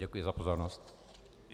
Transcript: Děkuji za pozornost.